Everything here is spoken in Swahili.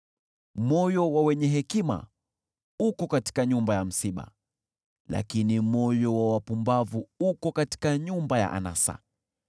Moyo wa wenye hekima uko katika nyumba ya msiba, lakini moyo wa wapumbavu uko katika nyumba ya anasa.